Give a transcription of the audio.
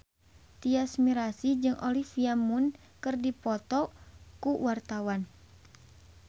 Tyas Mirasih jeung Olivia Munn keur dipoto ku wartawan